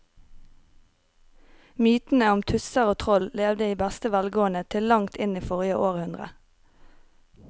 Mytene om tusser og troll levde i beste velgående til langt inn i forrige århundre.